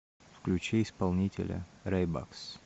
включи исполнителя рэйбакс